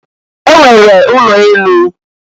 E nwere ụnọ enu.